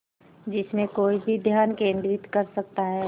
जिसमें कोई भी ध्यान केंद्रित कर सकता है